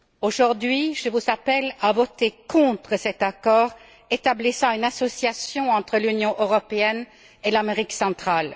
Aujourd'hui, je vous appelle à voter contre cet accord établissant une association entre l'Union européenne et l'Amérique centrale.